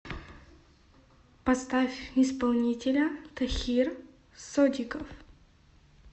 поставь исполнителя тохир содиков